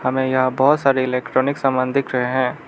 में यहां बहुत सारे इलेक्ट्रॉनिक सामान दिख रहे हैं।